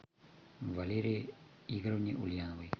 валерии игоревне ульяновой